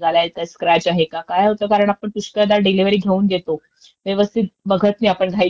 त्यामुळे गाडी जेव्हा आपण डिलिव्हरी घ्यायला जातो ना, तेव्हाचं मला वाटतं